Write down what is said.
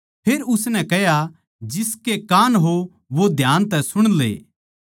फेर उसनै कह्या जिसके कान हों वो ध्यान तै सुण ले